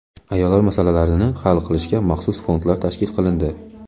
ayollar masalalarini hal qilishga maxsus fondlar tashkil qilindi.